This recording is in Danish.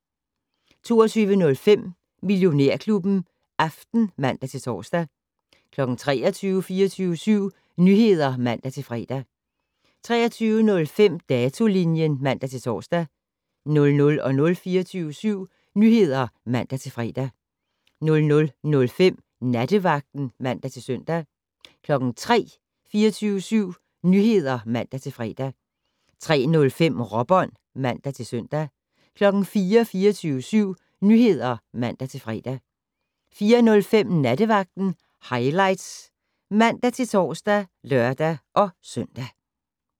22:05: Millionærklubben Aften (man-tor) 23:00: 24syv Nyheder (man-fre) 23:05: Datolinjen (man-tor) 00:00: 24syv Nyheder (man-fre) 00:05: Nattevagten (man-søn) 03:00: 24syv Nyheder (man-fre) 03:05: Råbånd (man-søn) 04:00: 24syv Nyheder (man-fre) 04:05: Nattevagten Highlights (man-tor og lør-søn)